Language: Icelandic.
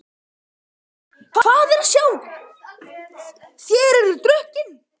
HÓTELHALDARI: Hvað er að sjá: þér eruð drukkin?